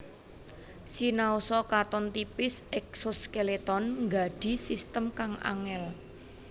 Sinaosa katon tipis eksoskeleton nggadhi sistem kang angèl